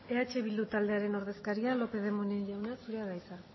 eh bildu taldearen ordezkaria lópez de munain jauna zurea da hitza